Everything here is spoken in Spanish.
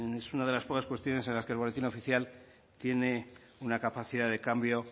es una de las pocas cuestiones en las que el boletín oficial tiene una capacidad de cambio